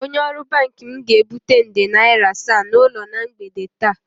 Onye ọrụ banki m ga-ebute nde naira asaa n'ụlọ na mgbede taa